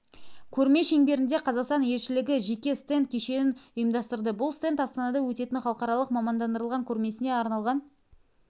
көрме шеңберінде қазақстан елшілігі жеке стенд кешенін ұйымдастырды бұл стенд астанада өтетін халықаралық мамандандырылған көрмесіне арналған